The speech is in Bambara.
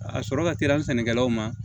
A sɔrɔ ka teli an sɛnɛkɛlaw ma